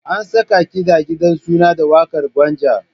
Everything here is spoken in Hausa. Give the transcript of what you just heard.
An saka kiɗa a gidan suna da waƙar Gwanja.